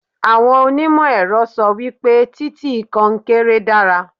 Àwọn oní ìmọ̀ ẹ̀rọ sọ wípé títì oní konkéré dára.